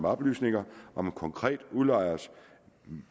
oplysninger om en konkret udlejers